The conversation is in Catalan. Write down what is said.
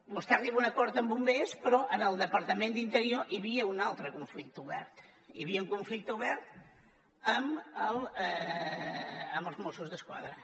vostè arriba a un acord amb bombers però en el departament d’interior hi havia un altre conflicte obert hi havia un conflicte obert amb els mossos d’esquadra